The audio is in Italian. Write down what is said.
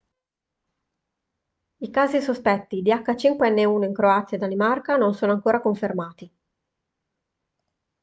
i casi sospetti di h5n1 in croazia e danimarca non sono ancora confermati